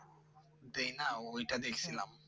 দেয় না ওই টা দেখছিলাম